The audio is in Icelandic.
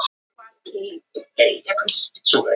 Þetta er mjög svipað dæmi.